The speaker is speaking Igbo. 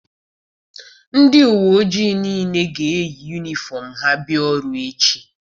Ndị uwe ojii niile ga-eyi yunifọm ha bịa ọrụ echi.